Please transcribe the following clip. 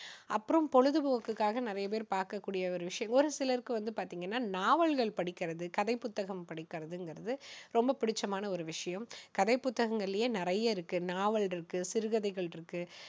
அப்புறம் பொழுதுபோக்குக்காக நிறைய பேர் பார்க்க கூடிய ஒரு விஷயங்கள், ஒரு சிலருக்கு வந்து பாத்தீங்கன்னா நாவல்கள் படிக்கிறது, கதை புத்தகங்கள் படிக்கிறதுங்குறது ரொம்ப பிடிச்சமான ஒரு விஷயம். கதை புத்தகங்களிலேயே நிறைய இருக்கு. நாவல் இருக்கு சிறுகதை இருக்கு.